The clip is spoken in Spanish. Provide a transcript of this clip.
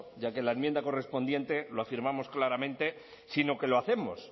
ya que la enmienda correspondiente lo afirmamos claramente sino que lo hacemos